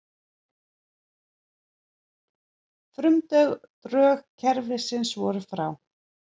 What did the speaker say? Frumdrög kerfisins voru frá